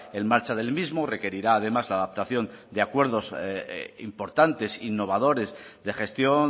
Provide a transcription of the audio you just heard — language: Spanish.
en marcha del mismo requerirá además la adaptación de acuerdos importantes innovadores de gestión